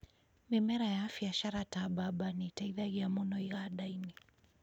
Mĩmera ya biacara ta mbamba nĩ ĩteithagia mũno iganda-inĩ